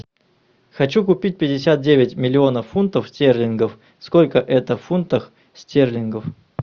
хочу купить пятьдесят девять миллионов фунтов стерлингов сколько это в фунтах стерлингов